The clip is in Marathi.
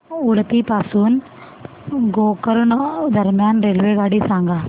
उडुपी पासून गोकर्ण दरम्यान रेल्वेगाडी सांगा